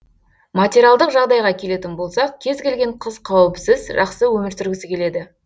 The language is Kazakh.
материалдық жағдайға келетін болсақ кез келген қыз қауіпсіз жақсы өмір сүргісі келеді